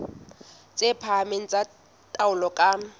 tse phahameng tsa taolo ka